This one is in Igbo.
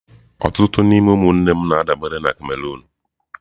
Ọtụtụ n'ime ụmụnne m na-adabere na Cameroon.